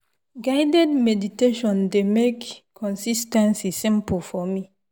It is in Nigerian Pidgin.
guided meditation dey make consis ten cy simple for me.